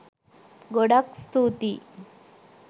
ගොඩක් ස්තුතියි.